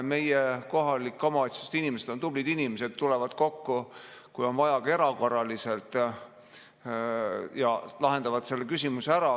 Meie kohalike omavalitsuste inimesed on tublid, tulevad kokku, kui on vaja, ka erakorraliselt, ja lahendavad selle küsimuse ära.